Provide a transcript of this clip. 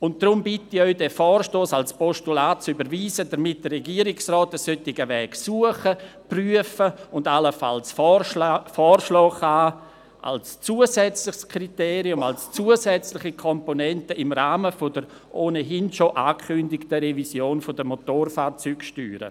Deshalb bitte ich Sie, diesen Vorstoss als Postulat zu überweisen, damit der Regierungsrat einen solchen Weg suchen, prüfen und allenfalls vorschlagen kann – als zusätzliches Kriterium, als zusätzliche Komponente im Rahmen der ohnehin schon angekündigten Revision der Motorfahrzeugsteuer.